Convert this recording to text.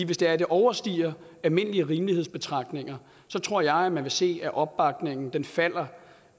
hvis det overstiger almindelige rimelighedsbetragtninger tror jeg man vil se at opbakningen falder